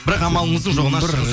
бірақ амалыңыздың жоғынан